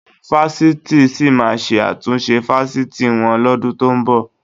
Àwọn fásitì sì máa ṣe àtúnṣe fásitì wọn lọ́dún tó ń bọ̀